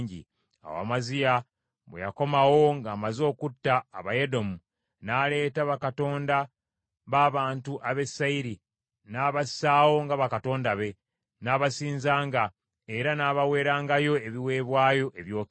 Awo Amaziya bwe yakomawo ng’amaze okutta Abayedomu, n’aleeta bakatonda b’abantu ab’e Seyiri, n’abassaawo nga bakatonda be, n’abasinzanga, era n’abaweerangayo ebiweebwayo ebyokebwa.